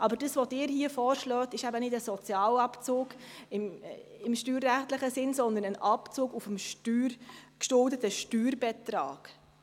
Was Sie hier vorschlagen, ist aber kein Sozialabzug im steuerrechtlichen Sinn, sondern ein Abzug auf dem geschuldeten Steuerbetrag.